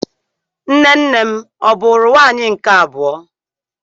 Nne nnem ọ bụụrụ nwaanyị nke abụọ?